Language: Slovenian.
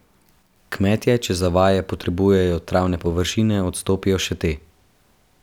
Kmetje, če za vaje potrebujejo travne površe, odstopijo še te.